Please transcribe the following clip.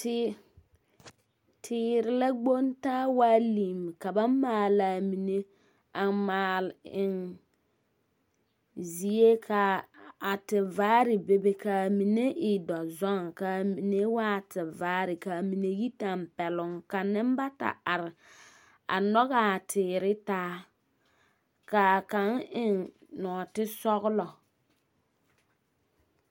Tee teere la gboŋ taa waa limm, ka ba maalaa mine a maal eŋ, zie, kaa a tevaare bebe kaa mine e dɔzɔŋ kaa mine waa a tevaare kaa mine yi tɛmpɛloŋ ka nembata are, a nɔgaa teere taa, kaa kaŋ eŋ nɔɔte sɔglɔ.